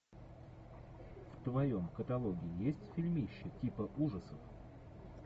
в твоем каталоге есть фильмище типа ужасов